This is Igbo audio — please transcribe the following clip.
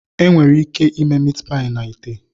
Ị nwere ike ime Meatpie na ite.